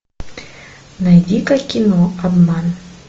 найди ка кино обман